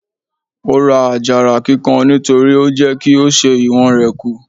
Ó ra àjàrà kíkan nítorí ó ń jẹ́ kí ó ṣẹ́ ìwọ̀n rẹ̀ kù.